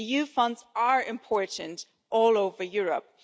EU funds are important all over Europe.